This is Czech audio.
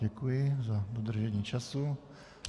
Děkuji za dodržení času.